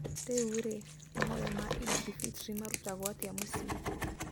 Rĩu-rĩ, mahoya ma Eid al-Fitr marutagwo atĩa mũciĩ?